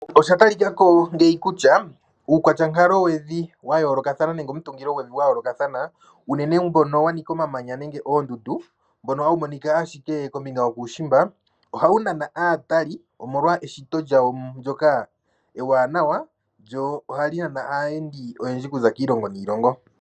Osha talika ko ngeyi kutya uukwatya wonkalovi wa yoolokathana nenge omutungilovi gwa yoolokathana uunene mbono wa nika omamanya nenge oondundu mbono hawu monika ashike kombinga yokuushimba ohawu nana aatali omolwa eshito lyawo ndyoka ewanawa lyo ohali nana aayendi oyendji okuza kiilongo niilongo.